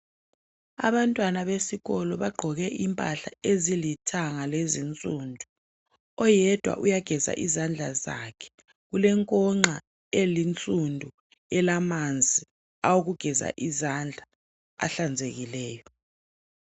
Abantwana besikolo bagqoke impahla ezilithanga lezinsundu oyedwa ugeza izandla zakhe kulenkonxa eyinsundu elamanzi awokugeza izandla ahlanzekileyo.